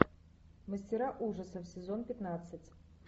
мастера ужасов сезон пятнадцать